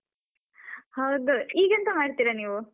ಹೌದು, ಈಗೆಂತ ಮಾಡ್ತೀರ ನೀವು?